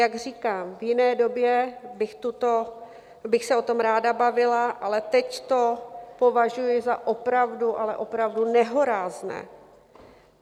Jak říkám, v jiné době bych se o tom ráda bavila, ale teď to považuji za opravdu, ale opravdu nehorázné.